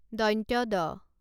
ড